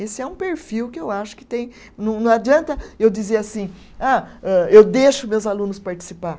Esse é um perfil que eu acho que tem. Não não adianta eu dizer assim, ah âh, eu deixo meus alunos participar.